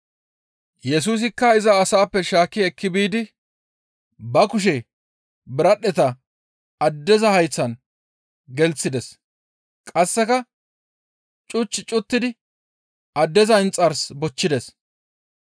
Yesusikka iza asaappe shaakki ekki biidi ba kushe biradhdheta addeza hayththan gelththides; qasseka cuch cuttidi addeza inxars bochchides.